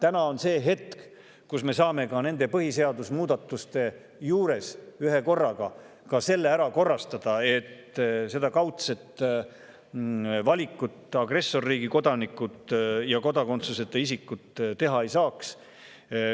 Nüüd on see hetk, kus me saame koos nende põhiseaduse muudatustega ka ära korrastada selle, et seda kaudset valikut agressorriigi kodanikud ja kodakondsuseta isikud teha ei saaks.